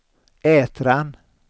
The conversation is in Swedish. Ätran